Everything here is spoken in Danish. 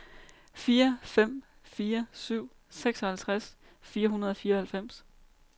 fire fem fire syv seksoghalvtreds fire hundrede og fireoghalvfems